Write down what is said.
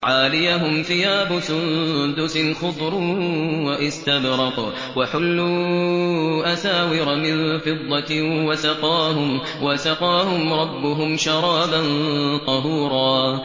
عَالِيَهُمْ ثِيَابُ سُندُسٍ خُضْرٌ وَإِسْتَبْرَقٌ ۖ وَحُلُّوا أَسَاوِرَ مِن فِضَّةٍ وَسَقَاهُمْ رَبُّهُمْ شَرَابًا طَهُورًا